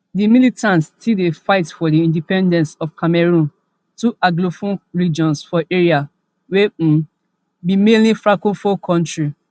di militants still dey fight for di independence of cameroon two anglophone regions for area wey um be mainly francophone kontri